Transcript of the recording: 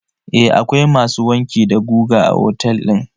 Eh akwai masu wanki da goga a otel din.